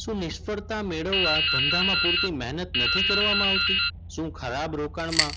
શું નિષ્ફળતા મેળવવા ધંધામાં પૂરતી મહેનત નથી કરવામાં આવતી? શું ખરાબ રોકાણમાં